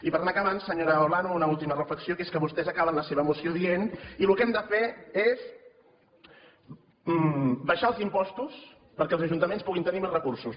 i per anar acabant senyora olano una última reflexió que és que vostès acaben la seva moció dient i el que hem de fer és abaixar els impostos perquè els ajuntaments puguin tenir més recursos